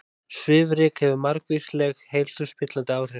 Svifryk hefur margvísleg heilsuspillandi áhrif